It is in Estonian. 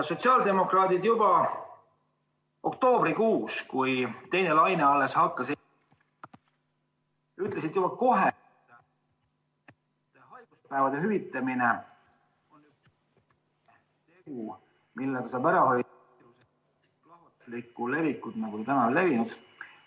Sotsiaaldemokraadid juba oktoobrikuus, kui teine laine alles algas, ütlesid kohe, et haiguspäevade hüvitamine on meede, millega saab ära hoida plahvatuslikku levikut, nagu see täna meil on.